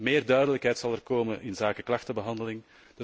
Meer duidelijkheid zal er komen inzake klachtenbehandeling.